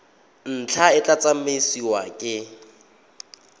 ntlha e tla tsamaisiwa ke